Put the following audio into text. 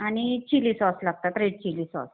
आणि chilli sauce लागतात. Red chilli sauce.